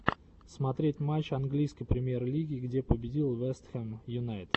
смотреть матч английской премьер лиги где победил вест хэм юнайтед